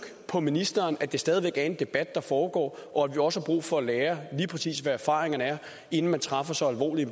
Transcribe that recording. på ministeren at det stadig væk er i en debat der foregår og at vi også har brug for at lære lige præcis hvad erfaringerne er inden man træffer så alvorlig